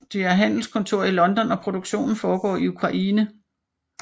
De har handelskontor i London og produktionen foregår i Ukraine